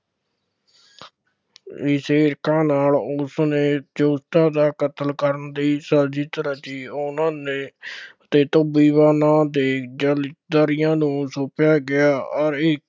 ਨਾਲ ਉਸਨੇ ਜੋਤੀਬਾ ਦਾ ਕਤਲ ਕਰਨ ਦੀ ਸਾਜ਼ਿਸ਼ ਰਚੀ, ਉਹਨਾ ਨੇ ਨਾਂ ਦੇ ਦਲਿਤ-ਦਾਰੀਆਂ ਨੂੰ ਸੌਂਪਿਆ ਗਿਆ, ਅੋਰ ਇੱਕ